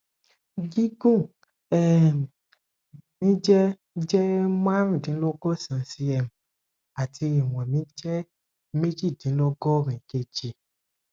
gígùn um mi jẹ jẹ marundinlogosan cm àti ìwọn mi jẹ mejidinlogorin kg